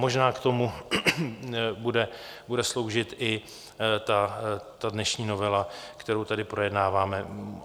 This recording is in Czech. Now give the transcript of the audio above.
Možná k tomu bude sloužit i ta dnešní novela, kterou tady projednáváme.